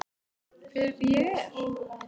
Hver ég er.